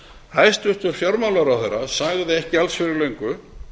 hæstvirtur fjármálaráðherra sagði ekki alls fyrir löngu